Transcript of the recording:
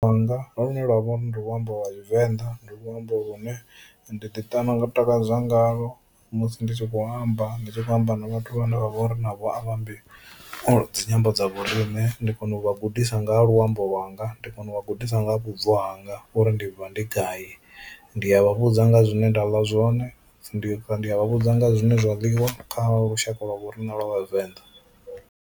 Lune lwa vha uri ndi luambo lwa tshivenḓa ndi luambo lune ndi ḓi ṱana nga ndi ḓi takadza ngalwo musi ndi tshi kho amba ndi tshi khou amba na vhathu vhane vha vhori navho a vha ambi dzi nyimbo dza vho riṋe ndi kona u vha gudisa nga ha luambo lwanga, ndi kona u vha gudisa nga ha vhubvo hanga uri ndi vha ndi gai ndi a vha vhudza nga zwine nda ḽa zwone ndi ndi a vha vhudza nga zwine zwa ḽiwa kha lushaka lwa vho riṋe lwa vhavenḓa.